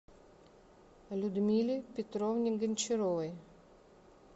людмиле петровне гончаровой